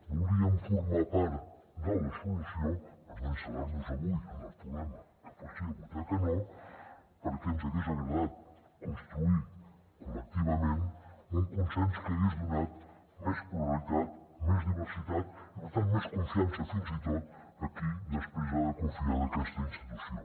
volíem formar part de la solució per no instal·lar nos avui en el problema que pot ser votar que no perquè ens hagués agradat construir col·lectivament un consens que hagués donat més pluralitat més diversitat i per tant més confiança fins i tot a qui després ha de confiar en aquesta institució